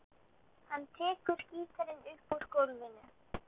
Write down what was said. Hann tekur gítarinn upp úr gólfinu.